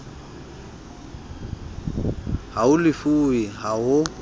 ha ho lefuwe ha ho